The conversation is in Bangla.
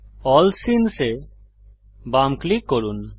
এএলএল সিনেস এ বাম ক্লিক করুন